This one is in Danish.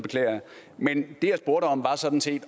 er sådan set